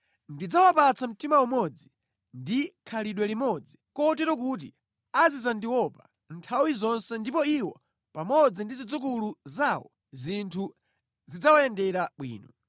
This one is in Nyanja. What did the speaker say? Ndidzawapatsa mtima umodzi ndi khalidwe limodzi kotero kuti azidzandiopa nthawi zonse ndipo iwo pamodzi ndi zidzukulu zawo zinthu zidzawayendera bwino.